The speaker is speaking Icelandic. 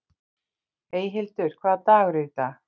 Eyhildur, hvaða dagur er í dag?